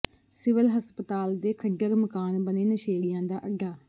civil ਹਸਪਤਾਲ ਦੇ ਖੰਡਰ ਮਕਾਨ ਬਣੇ ਨਸ਼ੇੜੀਆਂ ਦਾ ਅੱਡਾ